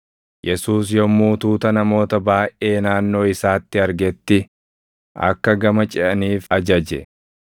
Yesuus yommuu tuuta namoota baayʼee naannoo isaatti argetti akka gama ceʼaniif ajaje.